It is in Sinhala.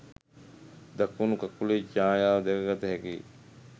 දකුණු කකුලේ ඡායාව දැකගත හැකියි